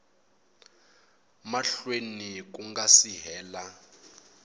mahlweni ku nga si hela